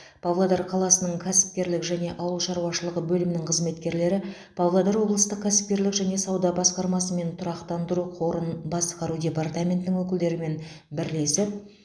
павлодар қаласының кәсіпкерлік және ауыл шаруашылығы бөлімінің қызметкерлері павлодар облыстық кәсіпкерлік және сауда басқармасы мен тұрақтандыру қорын басқару департаментінің өкілдерімен бірлесіп